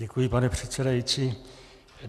Děkuji, pane předsedající.